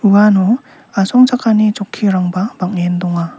uano asongchakani chokkirangba bang·en donga.